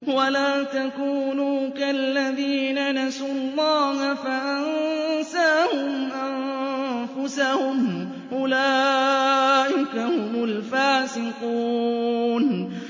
وَلَا تَكُونُوا كَالَّذِينَ نَسُوا اللَّهَ فَأَنسَاهُمْ أَنفُسَهُمْ ۚ أُولَٰئِكَ هُمُ الْفَاسِقُونَ